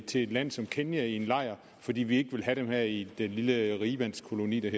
til et land som kenya i en lejr fordi vi ikke vil have dem her i den lille rigmandskoloni der